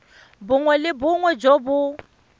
bongwe le bongwe jo bo